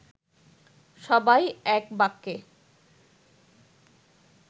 সবাই এক বাক্যে